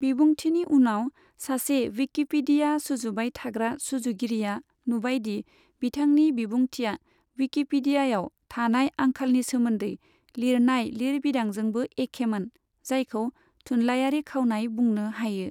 बिबुंथिनि उनाव, सासे विकिपीडिया सुजुबाय थाग्रा सुजुगिरिया नुबाय दि बिथांनि बिबुंथिया विकिपीडियाव थानाय आंखालनि सोमोन्दै लिरनाय लिरबिदांजोंबो एखेमोन, जायखौ थुनलायारि खावनाय बुंनो हायो।